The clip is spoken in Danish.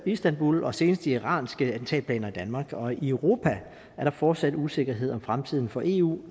istanbul og senest de iranske attentatplaner i danmark og i europa er der fortsat usikkerhed om fremtiden for eu